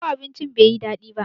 ko abincin bai yi dadi ba?